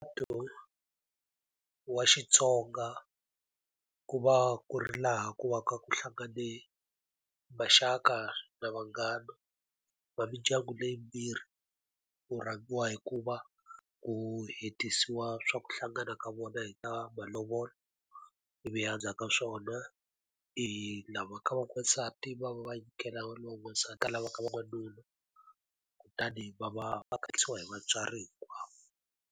Ntirho wa Xitsonga ku va ku ri laha ku va ku hlangane maxaka na vanghana va mindyangu leyi yimbirhi. Ku rhangiwa hi ku va ku hetisiwa swa ku hlangana ka vona hi ta malovolo, ivi endzhaku ka swona lava ka va n'wansati va va va nyikela lowa n'wansati a lava ka va n'wanuna kutani va va va hi vatswari hinkwavo.